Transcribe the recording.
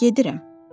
Gedirəm.